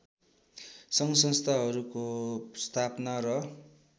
सङ्घसंस्थाहरूको स्थापना र